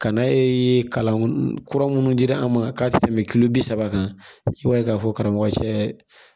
Ka na kalan kura minnu dira an ma k'a tɛ tɛmɛ kilo bi saba kan i b'a ye k'a fɔ karamɔgɔ cɛ